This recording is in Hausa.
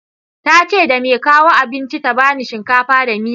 Tace da mai kawo abincin ta bani shinkafa da miya